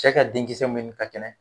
Cɛ ka denkisɛ minnu ka kɛnɛ